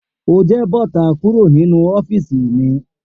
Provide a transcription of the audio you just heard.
O jẹ bọta kúrò ninu ọfìsí mi!